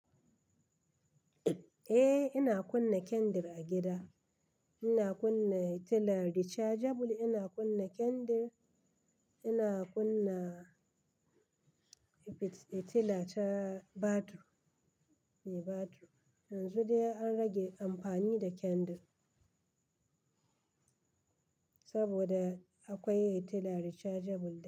Eh ina kunna kendir a gida. Ina kunna fitila rechargeable, ina kunna kendir, ina kunna fitila ta batir. Yanzu dai an rage amfani da kendir saboda akwai fitila rechargeable.